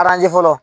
fɔlɔ